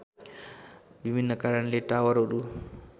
विभिन्न कारणले टावरहरू